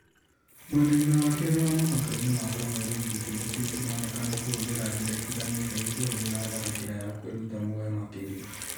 Mwena-inĩ wa kerĩ wa mũhaka-inĩ wa cameroon gĩkũndi kĩũ kĩronekana kũhũthĩra njĩra itiganĩte gĩkĩhũthĩra tharĩkĩra ya kwĩrũta muoyo makĩria